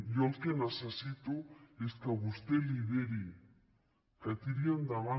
jo el que necessito és que vostè lideri que tiri endavant